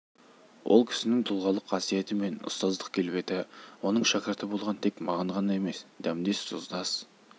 ол кісінің тұлғалық қасиеті мен ұстаздық келбеті оның шәкірті болған тек маған ғана емес дәмдес тұздас